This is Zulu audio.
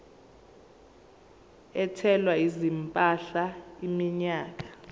ethwala izimpahla iminyaka